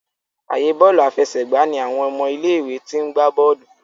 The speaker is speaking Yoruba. ààyè Bọ́ọ̀lù àfẹsẹ̀gbá ní àwọn ọmọ ilé ìwé t'in gbà bóòlù.